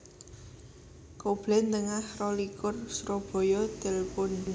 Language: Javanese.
Koblen Tengah rolikur Surabaya Telpon